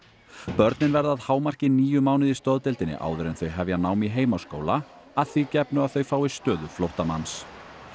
börnin verði að hámarki níu mánuði í stoðdeildinni áður en þau hefja nám í heimaskóla að því gefnu að þau fái stöðu flóttamanns